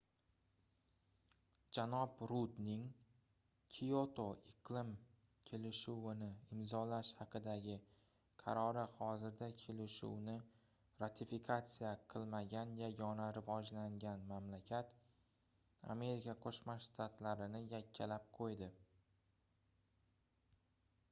janob rudning kioto iqlim kelishuvini imzolash haqidagi qarori hozirda kelishuvni ratifikatsiya qilmagan yagona rivojlangan mamlakat amerika qoʻshma shtatlarini yakkalab qoʻydi